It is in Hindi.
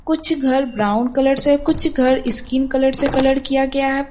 कुछ घर ब्राउन कलर से कुछ घर स्किन कलर से कलर किया गया है।